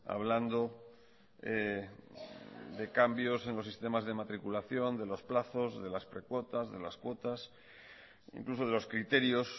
hablando de cambios en los sistemas de matriculación de los plazos de las precuotas de las cuotas incluso de los criterios